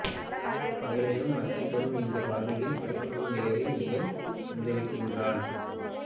பகலிலும் அச்சம் தரும் இந்தப் பாதையில் பனி கொட்டும் இரவில் இவன் வந்திருக்கிறான்